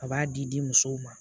A b'a di di musow ma